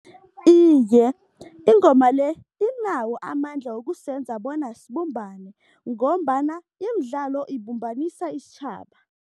Iye, ingoma le inawo amandla wokusenza bona sibumbane ngombana imidlalo ibumbanisa isitjhaba.